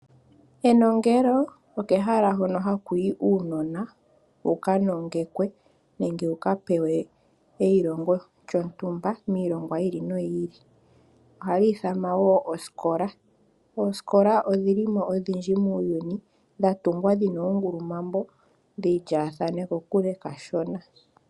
Enongelo, okehala hono haku yi uunona wu ka nongekwe nenge wu ka pewe eilongo lyontumba miilongwa yi ili noyi ili. Ohali ithanwa wo osikola. Oosikola odhi li mo odhindji muuyuni, dha tungwa dhi na oongulumambo dhi lyaathane kokule kashona.